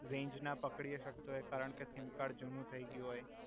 Range ના પકડી શકતું હોય કારણ કે સિમ કાર્ડ જુનુ થઈ ગયુ હોય.